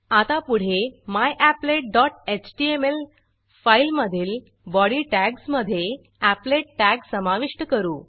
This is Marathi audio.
आता पुढे मॅपलेट डॉट एचटीएमएल फाईलमधील बॉडी टॅग्ज मधे एपलेट टॅग समाविष्ट करू